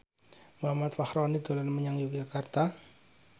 Muhammad Fachroni dolan menyang Yogyakarta